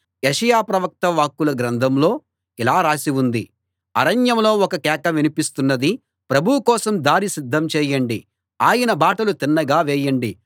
యెషయా ప్రవక్త వాక్కుల గ్రంథంలో ఇలా రాసి ఉంది అరణ్యంలో ఒక కేక వినిపిస్తున్నది ప్రభువు కోసం దారి సిద్ధం చేయండి ఆయన బాటలు తిన్నగా చేయండి